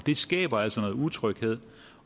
skaber altså noget utryghed